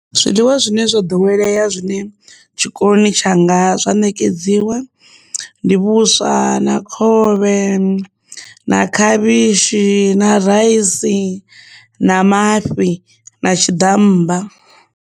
Zwiḽiwa zwine zwa ḓowelea zwine tshikoloni tshanga zwa ṋekedziwa ndi vhuswa na khovhe ane na khavhishi na raisi na mafhi na tshiḓammba.